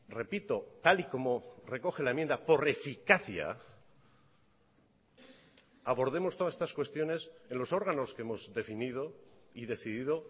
repito tal y como recoge la enmienda por eficacia abordemos todas estas cuestiones en los órganos que hemos definido y decidido